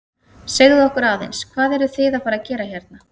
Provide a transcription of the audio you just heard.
Segðu okkur aðeins, hvað eruð þið að fara að gera hérna?